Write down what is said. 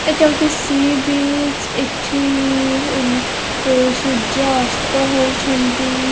ଏଟା ଗୋଟେ sea beach ଏଠି ଇ ଇ ବ ବ ଏ ସୂର୍ଯ୍ୟ ଅସ୍ତ ହଉଛନ୍ତି --